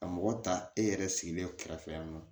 Ka mɔgɔ ta e yɛrɛ sigilen kɛrɛfɛ yan nɔ